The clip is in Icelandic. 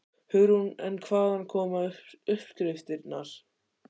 Hugrún: En hvaðan koma uppskriftirnar?